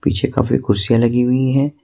पीछे काफी कुर्सियां लगी हुई हैं।